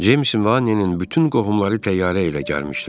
Ceymsin və Anninin bütün qohumları təyyarə ilə gəlmişdilər.